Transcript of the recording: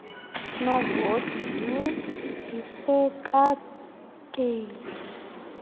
novoti yhu yisekakeli